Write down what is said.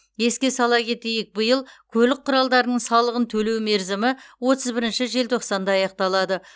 еске сала кетейік биыл көлік құралдарының салығын төлеу мерзімі отыз бірінші желтоқсанда аяқталады